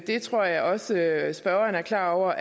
det tror jeg også at spørgeren er klar over